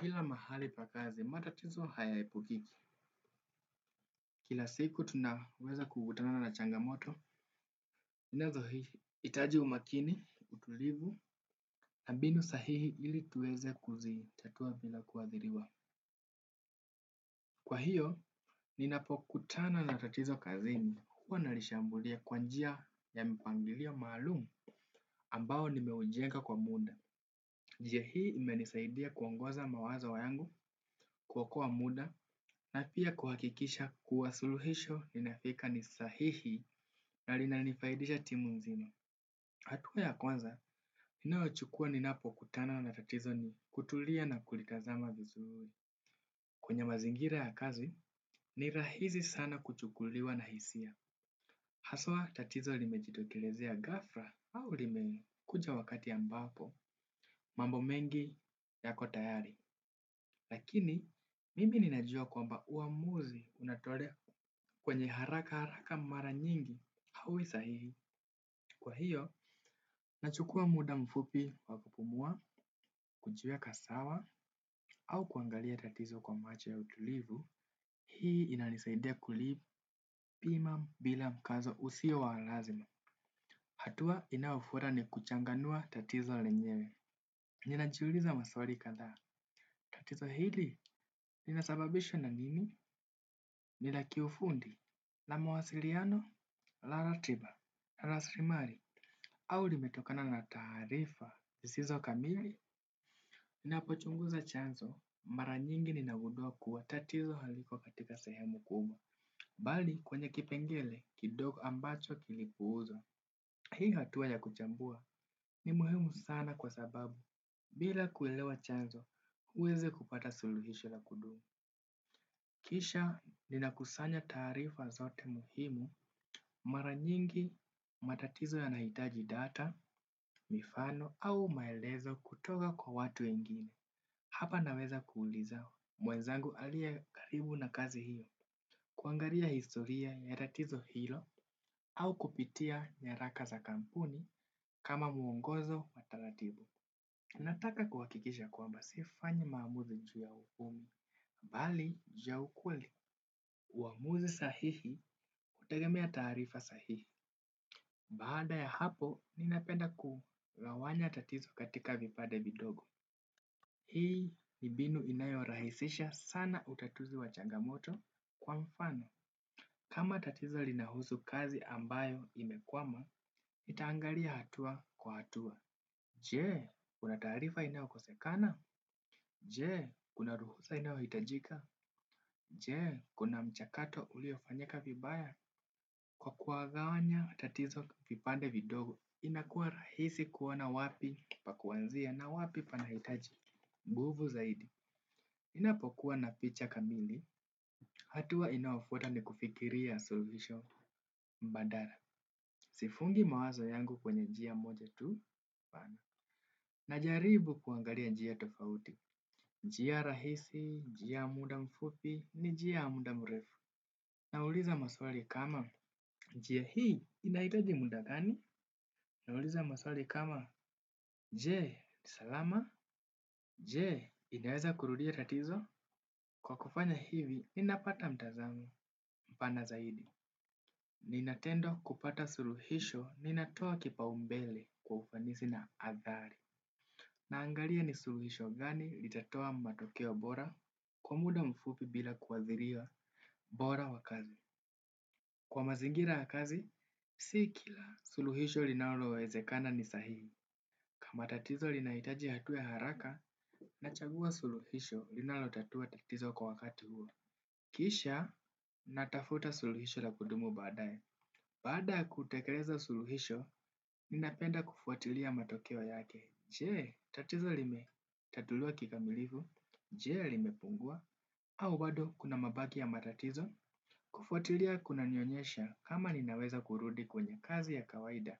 Kila mahali pakazi, matatizo hayaepukiki. Kila siku tunaweza kukutana na changamoto, inazo hii itaji umakini, utulivu, na mbinu sahihi ili tuweze kuzi tatua bila kuadhiriwa. Kwa hiyo, ninapokutana na tatizo kazini. Huwa nalishambulia kwa njia ya mpangilio maalumu. Ambao nimeujenga kwa muda. Njia hii imenisaidia kuongoza mawazo yangu, kuokoa muda na pia kuhakikisha kuwa suluhisho ninafika ni sahihi na lina nifaidisha timu mzino. Hatua ya kwanza, ninayo chukua ninapo kutana na tatizo ni kutulia na kulitazama vizuri. Kwenye mazingira ya kazi, ni rahizi sana kuchukuliwa na hisia. Haswa tatizo limejitokelezea gafra au lime kuja wakati ambapo, mambo mengi yako tayari. Lakini, mimi ninajua kwamba uamuzi unatolea kwenye haraka haraka mara nyingi, haui sahihi. Kwa hiyo, nachukua muda mfupi wa kupumua, kujieka sawa, au kuangalia tatizo kwa macho ya utulivu, hii inanisaidia kulipima bila mkazo usio wa lazima. Hatua inaofuata ni kuchanganua tatizo lenyewe. Ninajuliza maswari kathaa, tatizo hili, linasababishwa na nini, ni laki ufundi. Na mawasiliano, la ratiba, la srimari, au limetokana na tarifa zisizo kamili. Ninapochunguza chanzo, mara nyingi ninagudua kuwa tatizo haliko katika sehemu kubwa, bali kwenye kipengele kidogo ambacho kilipuuzwa. Hii hatuwa ya kuchambua ni muhimu sana kwa sababu, bila kuelewa chanzo, uweze kupata suluhisho la kudumu. Kisha nina kusanya taarifa zote muhimu mara nyingi matatizo yanaitaji data, mifano au maelezo kutoka kwa watu wengine. Hapa naweza kuuliza mwenzangu alie karibu na kazi hiyo. Kuangaria historia ya tatizo hilo au kupitia nyaraka za kampuni kama muongozo wa taratibu. Nataka kuwakikisha kwamba sifanyi maamuzi nchua upumi, bali ju ya ukweli. Uamuzi sahihi hutegemea taarifa sahihi. Baada ya hapo, ninapenda kugawanya tatizo katika vipade vidogo. Hii ni mbinu inayo rahisisha sana utatuzi wa changamoto kwa mfano. Kama tatizo lina husu kazi ambayo imekwama, nitaangaria hatua kwa hatua. Jee, kuna tarifa inayo kosekana? Jee, kuna ruhusa inayohitajika. Jee, kuna mchakato uliofanyika vibaya. Kwa kuagawanya, tatizo kipipande vidogo. Inakuwa rahisi kuona wapi pa kuanzia na wapi panahitaji. Mbuvu zaidi. Ninapokuwa na picha kamili. Hatua inayofuata ni kufikiria suluhisho mbadala. Sifungi mawazo yangu kwenye jia moja tu. Pana. Najaribu kuangalia njia tofauti, njia rahisi, njia muda mfupi, njia muda mrefu. Nauliza maswali kama, njia hii inaitaji muda gani, nauliza maswali kama, jee, salama, jee, inaweza kurudia tatizo. Kwa kufanya hivi, ninapata mtazamo mpana zaidi. Ninatendo kupata suluhisho, ninatoa kipaumbele kwa ufanisi na athari. Naangalia ni suluhisho gani litatoa matokeo bora kwa muda mfupi bila kuwaziria bora wa kazi. Kwa mazingira ya kazi, sii kila suluhisho linalo wezekana ni sahii. Kama tatizo linaitaji hatua ya haraka nachagua suluhisho linalo tatua tatizo kwa wakati huo. Kisha natafuta suluhisho la kudumu badaye. Baada ya kutekeleza suluhisho, ninapenda kufuatilia matokeo yake, jee, tatizo lime tatuliwa kikamilifu, jee limepungua, au bado kuna mabaki ya matatizo, kufuatilia kuna nionyesha kama ninaweza kurudi kwenye kazi ya kawaida,